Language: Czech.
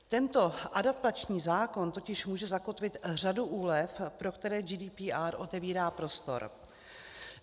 Tento adaptační zákon totiž může zakotvit řadu úlev, pro které GDPR otevírá prostor.